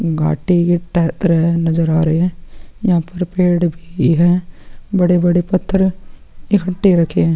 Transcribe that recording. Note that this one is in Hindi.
घाटी की तह की तरह नज़र आ रहे है यहाँ पर पेड़ भी है बड़े-बड़े पत्थर यहाँ पे रखे है--